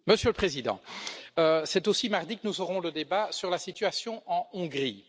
Monsieur le Président, c'est aussi mardi que nous aurons le débat sur la situation en Hongrie.